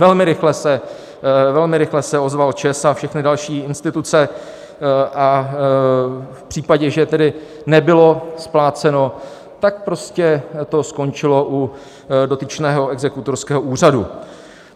Velmi rychle se ozval ČEZ a všechny další instituce a v případě, že tedy nebylo spláceno, tak to prostě skončilo u dotyčného exekutorského úřadu.